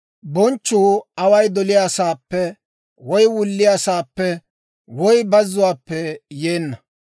Bonchchuu away doliyaasaappe woy wulliyaasaappe woy bazzuwaappe yeenna.